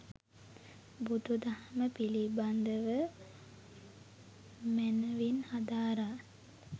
බුදු දහම පිළිබඳව මැනවින් හදාරා